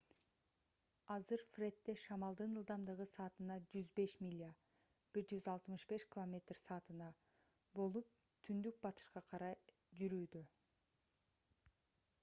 азыр фредде шамалдын ылдамдыгы саатына 105 миля 165 км/с болуп түндүк-батышка карай жүрүүдө